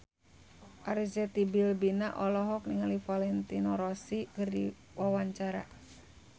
Arzetti Bilbina olohok ningali Valentino Rossi keur diwawancara